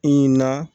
na